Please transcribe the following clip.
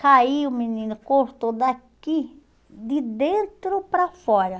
Caiu o menino, cortou daqui, de dentro para fora.